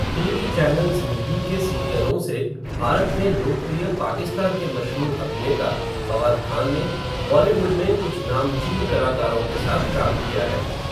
TV channel ज़िंदगी के सीरियलों से, भारत में लोकप्रिय पाकिस्तान के मशहूर अभिनेता, फ़वाद ख़ान ने, बॉलीवुड में कुछ नामचीन कलाकारों के साथ काम किया है.